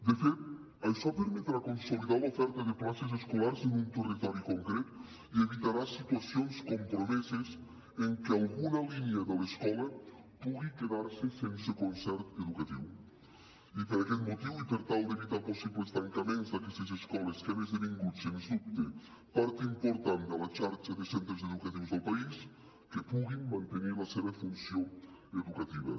de fet això permetrà consolidar l’oferta de places escolars en un territori concret i evitarà situacions compromeses en què alguna línia de l’escola pugui quedar se sense concert educatiu i per aquest motiu i per tal d’evitar possibles tancaments d’aquestes escoles que han esdevingut sens dubte part important de la xarxa de centres educatius del país que puguin mantenir la seva funció educativa